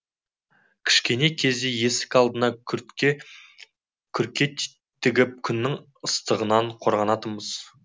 кішкене кезде есік алдына күрке тігіп күннің ыстығынан қорғанатынбыз